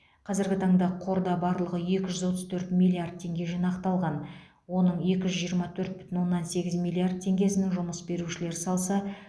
қазіргі таңда қорда барлығы екі жүз отыз төрт миллиард теңге жинақталған оның екі жүз жиырма төрт бүтін оннан сегіз миллиард теңгесін жұмыс берушілер салса